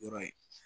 Yɔrɔ ye